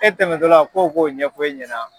E tɛmɛtɔ la ko k'o ɲɛfɔ e ɲɛna.